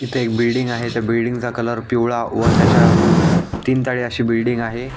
इथे एक बिल्डिंग आहे त्या बिल्डिंगचा कलर पिवळा व त्याच्या तीन तळी अशी बिल्डिंग आहे.